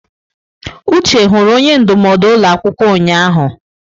Uche hụrụ onye ndụmọdụ ụlọ akwụkwọ ụnyahụ?